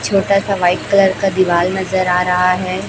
छोटा सा का दीवाल नजर आ रहा है।